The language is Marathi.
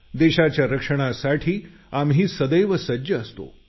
देशाच्या रक्षणासाठी आम्ही सदैव सज्ज असतो